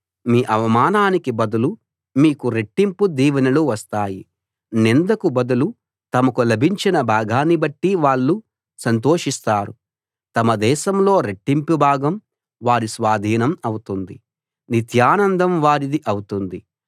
మీ అవమానానికి బదులు మీకు రెట్టింపు దీవెనలు వస్తాయి నిందకు బదులు తమకు లభించిన భాగాన్ని బట్టి వాళ్ళు సంతోషిస్తారు తమ దేశంలో రెట్టింపు భాగం వారి స్వాధీనం అవుతుంది నిత్యానందం వారిది అవుతుంది